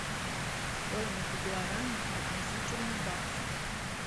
стоимость гуарани относительно бакса